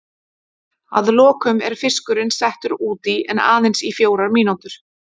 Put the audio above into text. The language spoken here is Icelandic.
Að lokum er fiskurinn settur út í en aðeins í fjórar mínútur.